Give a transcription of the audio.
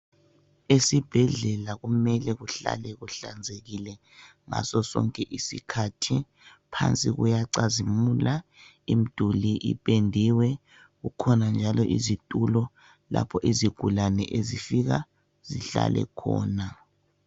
Esibhedlela kunele kuhlale kuhlanzekile ngaso sonke isikhathi phansi kuyacazimula imduli ipendiwe kukhona njalo izitulo lapho izigulani ezifika zihlale khona